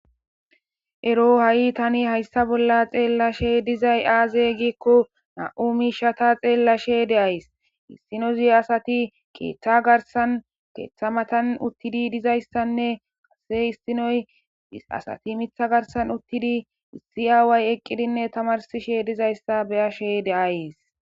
Ero ha7i tani hayssa bolla xeellashe dizay aaze gikko na7u miishata xeellashe de7ays issino zi asati keeththa garsan keeththa matan uttidi dizayssanne ase issinoy asati mitha garsan uttidi issi aaway eqqidinne tamarsishe dizayssa beyashe de7ays